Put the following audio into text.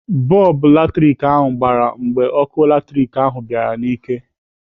Bọlbụ latrik ahụ gbara mgbe ọkụ latrik ahụ bịara n'ike